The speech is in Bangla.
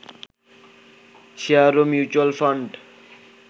শেয়ার ও মিউচ্যুয়াল ফান্ড